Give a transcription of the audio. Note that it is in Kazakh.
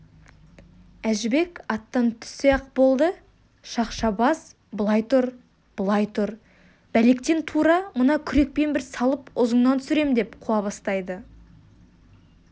әжібек аттан түссе-ақ болды шақша бас былай тұр былай тұр бәлектен тура мына күрекпен бір салып ұзыныңнан түсірем деп қуа бастайды